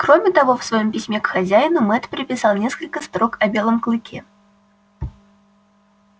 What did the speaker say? кроме того в своём письме к хозяину мэтт приписал несколько строк о белом клыке